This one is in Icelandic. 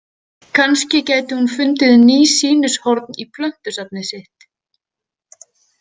Kannski gæti hún fundið ný sýnishorn í plöntusafnið sitt.